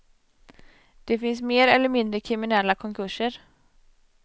Det finns mer eller mindre kriminella konkurser.